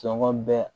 Sɔngɔn bɛɛ